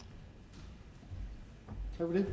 så er det